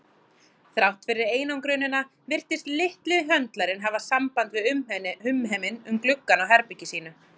Þrátt fyrir einangrunina virtist litli höndlarinn hafa samband við umheiminn um gluggann á herbergi sínu.